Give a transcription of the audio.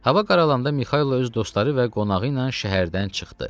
Hava qaralanda Mixailo öz dostları və qonağı ilə şəhərdən çıxdı.